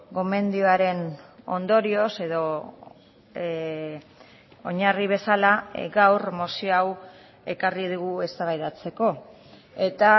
gomendioaren ondorioz edo oinarri bezala gaur mozio hau ekarri digu eztabaidatzeko eta